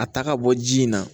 A ta ka bɔ ji in na